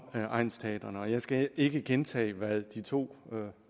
egnsteatrene jeg skal ikke gentage hvad de to